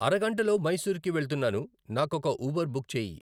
అరగంటలో మైసూర్ కి వెళ్తున్నాను నాకొక ఊబర్ బుక్ చేయి